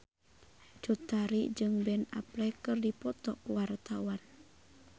Cut Tari jeung Ben Affleck keur dipoto ku wartawan